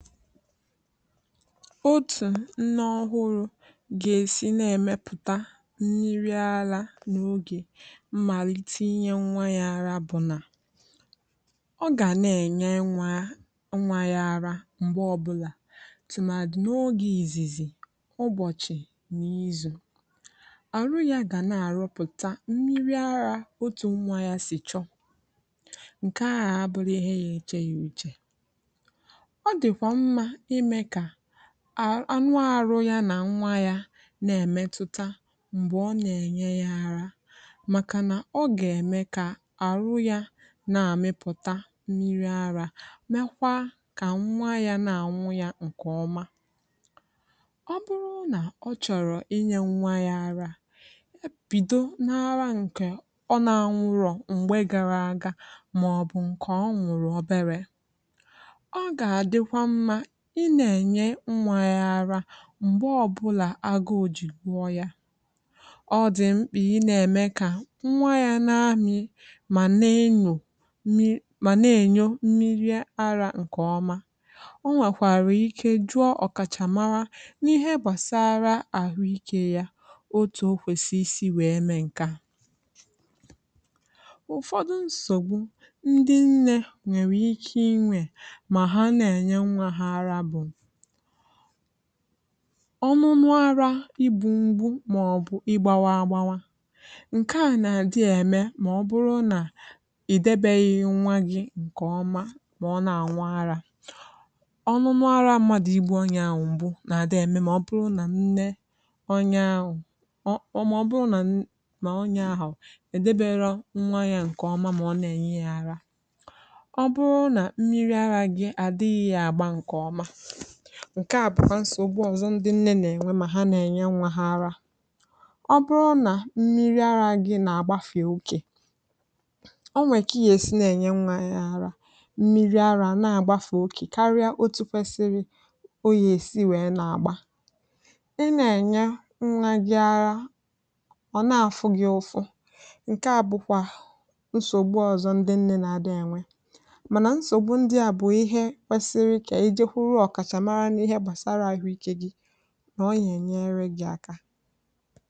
Otu nnu ọhụrụ ga-esi na-emepụta mmiri ara n’oge mmalite inye nwa ya ara bụ na ọ ga na-enye nwa ya ara mgbe ọbụla, ọkachasị n’oge izizi ụbọchi. Na izu, arụ ya ga na-arụpụta mmiri ara otu nwa ya si chọ ya. Nke a anaghị abụ ihe ya na-eche uche, anwụrụ arụ ya na nwa ya na-emetụta mgbe ọ na-enye ya ara, maka na nke a ga-eme ka ahụ ya na-amịpụta mmiri ara, meekwa ka nwa ya na-anwụ ya nke ọma. Ọ bụrụ na ọ chọrọ inye nwa ya ara bido n’ara nke ọ na-anwụrọ́ mgbe gara aga maọbụ nke ọ nwụrụ obere, ị na-enye nwa ya ara mgbe ọbụla agụụ ojị gwụo ya. Ọ dị mkpa ka ị na-eme ka nwa ya na-amị, ma na enyọ mee ma na enyọ mmiri ara nke ọma. O nwekwara ike ịjụ ọkachamara n’ihe gbasara ahụike ya otu o kwesịsi isi mee nke a. Ụfọdụ nsògbu ndị nne nwere ike inwe mgbe ha(ma ha) na-enye nwa ha ara gụnyere: ọnụnụ ara Ịgbụ mgbu ma ọbụ Ịgba agbawa. Nke a na-eme maọbụ na ịdebeghị nwa gị nke ọma, maọbụ na nwa ahụ na-anwa ara ọnụnụ ara mmadụ, igbu onye ahụ mgbu na-adị eme, maọbụ na nne onye ahụ, maọbụ na onye ahụ edebere nwa ahụ nke ọma, maọbụ na onye ahụ na-enye ya ara. Ọ bụrụ na mmiri ara gị adịghị agba nke ọma, nke a bụ nsògbu ọzọ ndị nne na-enwe mgbe ha na-enye nwa ha ara. Ọ bụrụ na mmiri ara gị na-agbafe oke, o nwekwara ihe ị ga-esi na-enye nwa gị ara. Mmiri ara na-agbafe oke karịa otu kwesiri, o kwesị ka ị gbaa mbọ hụ na: Ị na-enye nwa gị ara, Ọ na afụ gị ụfụ, nke a bụkwa nsògbu ọzọ ndị nne na-enwe. Mana nsògbu ndị a bụ ihe kwesịrị ka ọkachamara n’ihe gbasara ahụike gị nyere gị aka.